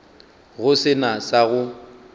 go se na sa go